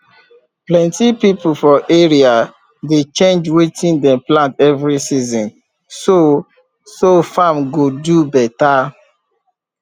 plenty people for area dey change wetin dem plant every season so so farm go do better